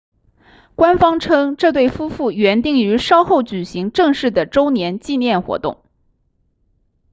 官方称这对夫妇原定于稍后举行正式的周年纪念活动